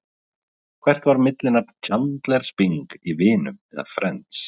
Hvert var millinafn Chandlers Bing í Vinum eða Friends?